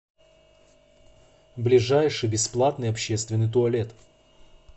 ближайший бесплатный общественный туалет